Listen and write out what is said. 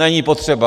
Není potřeba.